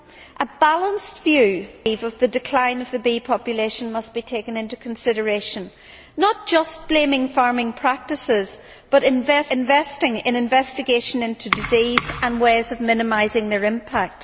I believe that a balanced view of the decline of the bee population must be taken into consideration, not just blaming farming practices but investing in investigation into diseases and ways of minimising their impact.